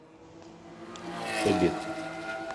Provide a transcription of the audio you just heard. побег